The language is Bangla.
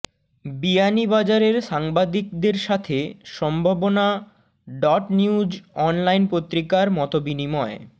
বিয়ানীবাজারের সাংবাদিকদের সাথে Sambhabona dot news online পত্রিকার মতবিনিময়